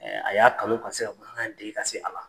Ɛɛ a ya kanu ka se ka bamanankan dege ka se a la .